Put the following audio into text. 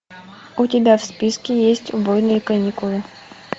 у тебя в списке есть убойные каникулы